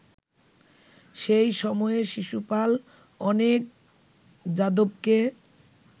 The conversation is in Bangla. সেই সময়ে শিশুপাল অনেক যাদবকে